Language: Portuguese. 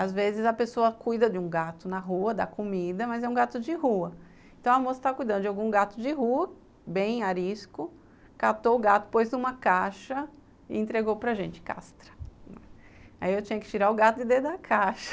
Às vezes a pessoa cuida de um gato na rua, dá comida, mas é um gato de rua. Então a moça estava cuidando de algum gato de rua, bem arisco, catou o gato, pôs numa caixa e entregou para gente , castra, aí eu tinha que tirar o gato e dê da caixa